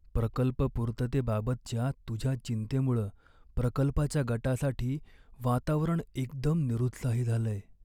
प्रकल्प पूर्ततेबाबतच्या तुझ्या चिंतेमुळं प्रकल्पाच्या गटासाठी वातावरण एकदम निरुत्साही झालंय.